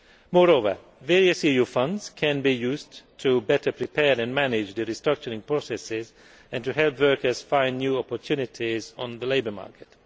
Moreover, various EU funds can be used to better prepare and manage the restructuring processes and to help workers find new opportunities on the labour market.